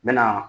N bɛ na